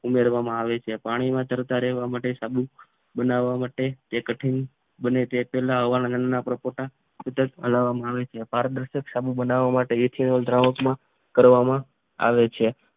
ઉમેરવામાં આવે છે પાણીમાં તરતા રહેવા માટે સાબુ બનાવવા માટે તે કઠિન બને તે પહેલા અવારનવાર ના પરપોટા સતત હલાવવામાં આવે છે પારદર્શક બનાવવા માટે ઇથેનોલ દ્રાવક માં કરવામાં આવે છે ઉમેરવામાં આવે છે